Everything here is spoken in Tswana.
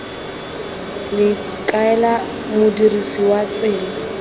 le kaela modirisi wa tsela